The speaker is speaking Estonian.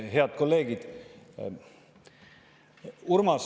Head kolleegid!